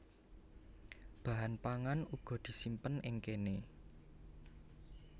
Bahan pangan uga disimpen ing kéné